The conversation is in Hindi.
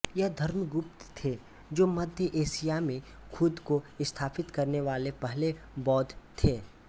यह धर्मगुप्तक थे जो मध्य एशिया में खुद को स्थापित करने वाले पहले बौद्ध थे